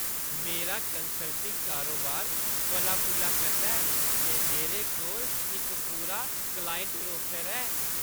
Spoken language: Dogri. मेरा कंसल्टिंग कारोबार फला-फुल्ला करदा ऐ, ते मेरे कोल इक पूरा क्लाइंट रोस्टर ऐ।